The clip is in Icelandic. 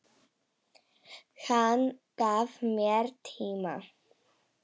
Hann gaf mér tíma.